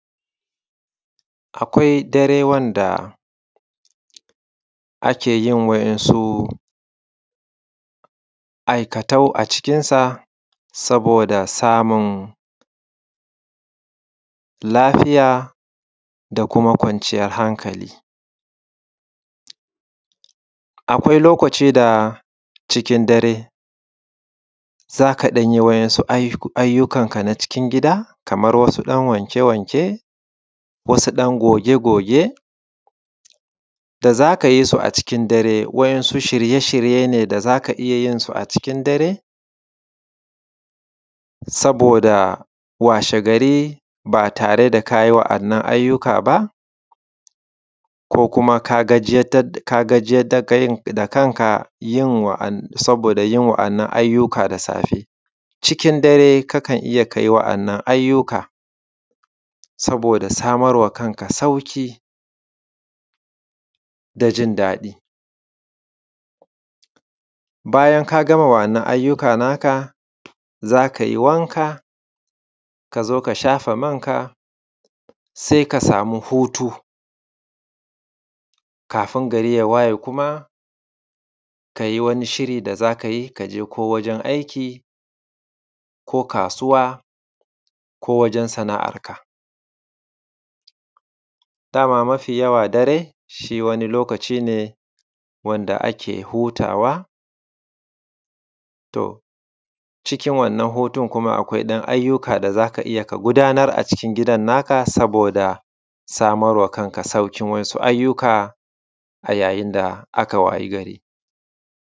Akwai dare wanda ake yin waɗansu aikatau a cikinsa saboda samun lafiya da kuma kwanciyar hankali, akwai lokaci da cikin dare za ka ɗan yi waɗansu ayyukan ka na cikin gida kamar wasu ɗan wanke-wanke, wasu ɗan goge-goge da za ka yi su a cikin dare waɗansu shirye-shirye ne da za ka iya yin su a cikin saboda washegari ba tare ka yi waɗannan ayyuka ba; ka kuma ka gajiyar da kanka saboda yin waɗannan ayyuka da safe, cikin dare kakan iya ka yi waɗannan ayyuka. Saboda samar ma kanka sauƙi da jindaɗi, bayan ka gama waɗannan ayyuka naka za kai wanka ka shafa manka, sai ka sami hutu kafin gari ya waye kuma ka yi wani shiri da za ka yi ka je ko wajen aiki ko kasuwa ko wajen sana’arka, dama mafiyawa dare shi wani lokaci ne wanda ake hutawa, cikin wanna hutun akwai ɗan ayyuka da za ka iya ka gudanar a cikin gidan naka, saboda samar ma kanka sauƙin wasu ayyuka a yayin da aka wayi gari.